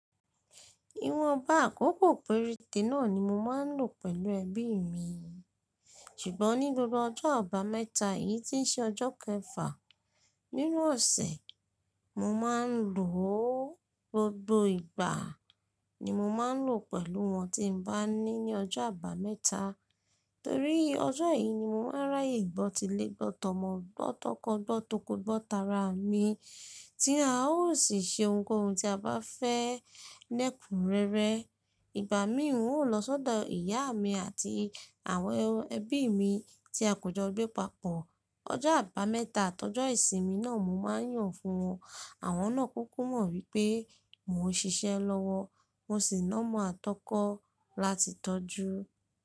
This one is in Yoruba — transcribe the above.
Iwọn baakọ kòkòrò perete náà ni mo má n lo pẹlu ẹbí mi. Sugbon ni gbogbo ọjọ abameta yìí tí n ṣe ọjọ kẹfà nínú ọsẹ, mo má n lo o. Gbogbo ìgbà ni mo má n lo pẹlu wọn tí n ba ni ní ọjọ abameta, torí ọjọ yìí ni mo ma n ráyè ìbọn tilẹgbọn, tọmọ gbọn, tọkọtọkọ, gbọn tọkọtọkọ, gbọn tara mi tí a ó sì se ohunkóhun tí a bá fẹ lẹkunrẹrẹ. Ìgbà mí òun ó lọ sọ́dọ̀ ìyá mi àti àwọn ẹbí mi tí a kò jọ gbẹ papọ. Ọjọ abameta tọjọ ìsinmi náà mo má n yàn fún wọn. Àwọn náà kúkú mọ̀ wípé mo n ṣiṣẹ́ lọ́wọ́, mo sì nọ́mọ̀ àtọkọ láti tọ́jú.